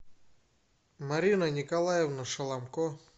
марина николаевна шаламко